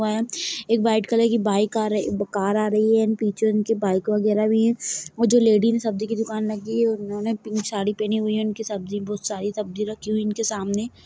बाहर एक white colour की बाइक कार आ रही है व पीछे उनके बाइक वगैरा भी हैं और जो लेडी सब्जी की दुकान लगई हुई है उन्होंने पिंक कलर की साड़ी पेहनी हुई है उनकी सब्जी उनकी बहुत सारी सब्जी रखी हुई है इनके सामने--